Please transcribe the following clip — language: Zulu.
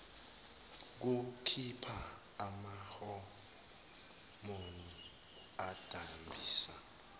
bukhipha amahomoni adambisa